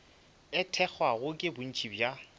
e thekgwago ke bontši bja